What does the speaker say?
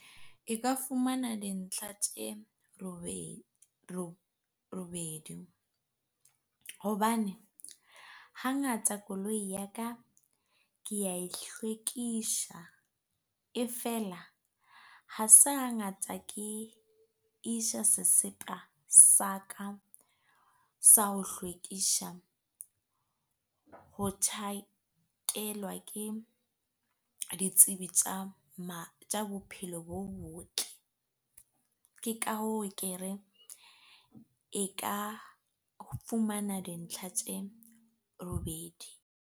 E ka fumana dintlha tje robedi hobane hangata koloi ya ka kea e hlwekisha e feela, ha se hangata ke isha sesepa sa ka, sa ho hlwekisha ho tjhakelwa ke ditsebi tja bophelo bo botle, ke ka hoo kere e ka fumana dintlha tje robedi.